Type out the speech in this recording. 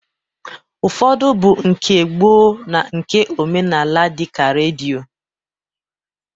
Ụfọdụ bụ nke gboo na nke omenaala dịka redio